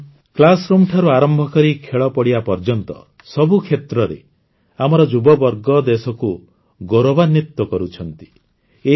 ସାଥିଗଣ କ୍ଲାସରୁମ୍ଠାରୁ ଆରମ୍ଭ କରି ଖେଳପଡ଼ିଆ ପର୍ଯ୍ୟନ୍ତ ସବୁ କ୍ଷେତ୍ରରେ ଆମର ଯୁବବର୍ଗ ଦେଶକୁ ଗୌରବାନ୍ୱିତ କରୁଛନ୍ତି